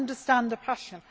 I understand the passion.